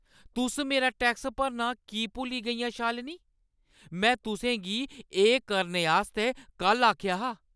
तुस मेरा टैक्स भरना की भुल्ली गेइयां, शालिनी? में तुसें गी एह् करने आस्तै कल्ल आखेआ हा।